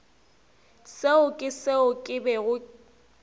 seo ke seo ke bego